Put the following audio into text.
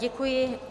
Děkuji.